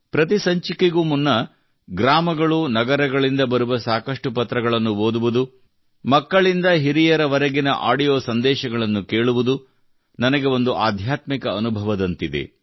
ಪ್ರತಿ ಸಂಚಿಕೆಗೂ ಮುನ್ನ ಗ್ರಾಮಗಳುನಗರಗಳಿಂದ ಬರುವ ಸಾಕಷ್ಟು ಪತ್ರಗಳನ್ನು ಓದುವುದು ಮಕ್ಕಳಿಂದ ಹಿರಿಯರವರೆಗೆ ಆಡಿಯೋ ಸಂದೇಶಗಳನ್ನು ಕೇಳುವುದು ನನಗೆ ಒಂದು ಆಧ್ಯಾತ್ಮಿಕ ಅನುಭವದಂತಿದೆ